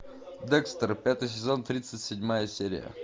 декстер пятый сезон тридцать седьмая серия